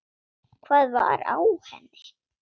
Hvað var á henni?